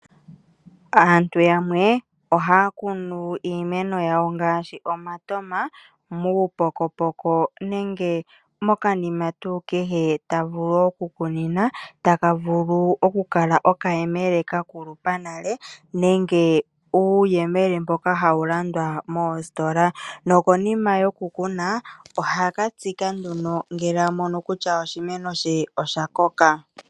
Aantu yamwe ohaya kunu iimeno yawo ngaashi omatama muupokopoko nenge mokanima tuu kehe ta vulu okukunina, taka vulu okukala okayemele ka kulupa nale nenge uuyemele mboka hawu landwa moositola nokonima yokukuna, oha ka tsika nduno ngele a mono kutya oshimeno she osha koka.